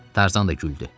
Tarzan da güldü.